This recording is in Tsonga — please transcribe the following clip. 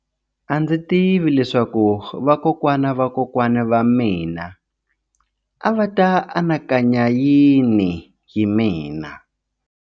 A ndzi tivi leswaku vakokwana va vakokwana va mina a va ta anakanya yini hi mina.